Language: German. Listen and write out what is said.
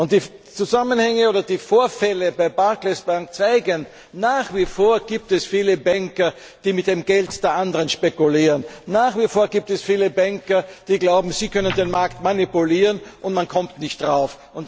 Und die Vorfälle bei der Barclays Bank zeigen, nach wie vor gibt es viele Banker, die mit dem Geld der anderen spekulieren, und nach wie vor gibt es viele Banker, die glauben, sie können den Markt manipulieren, und man kommt nicht drauf.